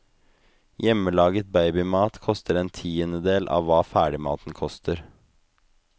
Hjemmelaget babymat koster en tiendedel av hva ferdigmaten koster.